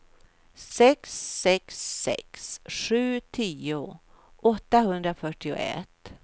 sex sex sex sju tio åttahundrafyrtioett